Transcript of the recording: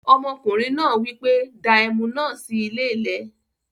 Ọmọkùnrin náà wípé 'Dáa Ẹmu náà sì ilẹ̀ lẹ.